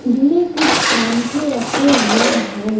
उसमें कुछ परांठे रखे हुए हैं।